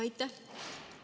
Aitäh!